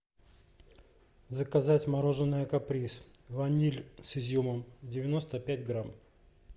заказать мороженое каприз ваниль с изюмом девяносто пять грамм